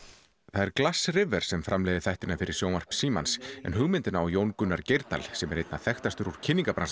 það er glass River sem framleiðir þættina fyrir sjónvarp Símans en hugmyndina á Jón Gunnar Geirdal sem er einna þekktastur úr